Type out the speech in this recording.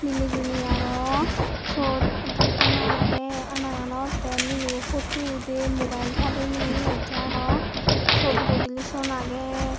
meli jeni arow suot ekkan ana agey anaganot te mileybo poto udey mubail padey nei te arow siot bodolison agey.